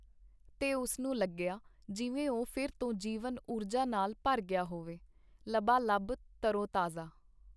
ਤੇ ਉਸਨੂੰ ਲੱਗਿਆ , ਜਿਵੇ ਉਹ ਫਿਰ ਤੋ ਜੀਵਨ ਊਰਜਾ ਨਾਲ ਭਰ ਗਿਆ ਹੋਵੇ , ਲਬਾ ਲਬ, ਤਰੋ ਤਾਜ਼ਾ .